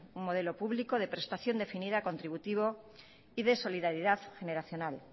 un modelo público de prestación definida contributivo y de solidaridad generacional